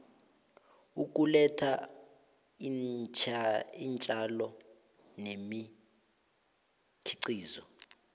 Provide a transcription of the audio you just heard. ukuletha iintjalo nemikhiqizo